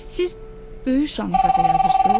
Siz böyük janrda da yazırsız?